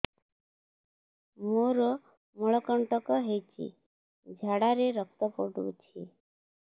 ମୋରୋ ମଳକଣ୍ଟକ ହେଇଚି ଝାଡ଼ାରେ ରକ୍ତ ପଡୁଛି